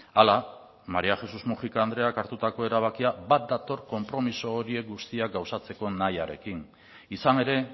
hala maría jesús múgica andreak hartutako erabakia bat dator konpromiso horiek gauzatzeko nahiarekin izan ere